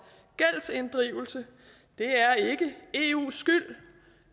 gældsinddrivelse det er ikke eus skyld